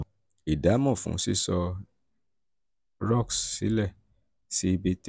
ìdámọ̀ fún sísọ ìdámọ̀ roc's sílẹ̀ sí b three